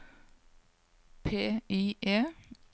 PIE